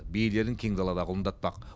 биелерін кең далада құлындатпақ